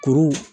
Kuru